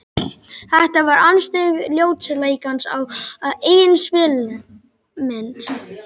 Þetta var andstyggð ljótleikans á eigin spegilmynd.